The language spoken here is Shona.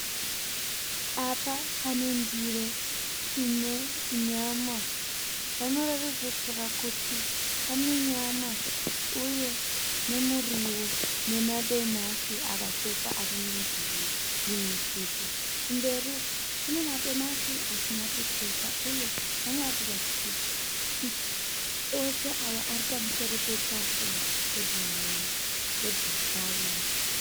Apa pane ndiro ine nyama. Panoratidza kuti pane nyama uye nemuriwo nemadomasi akachekwa ari mundiro mune supu. Kumberi uko kune madomasi asina kuchekwa uye panoratidza kuti ose awa ari pamusoro petafura yebhurawuni.